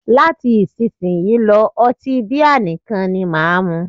Láti isísìnyí lọ́, ọtí bíà nìkan ni máà mú.